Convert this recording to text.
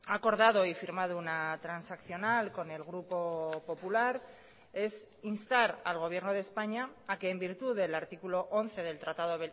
acordado y firmado una transaccional con el grupo popular es instar al gobierno de españa a que en virtud del artículo once del tratado